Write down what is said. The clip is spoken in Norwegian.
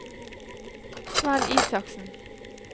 Svenn Isaksen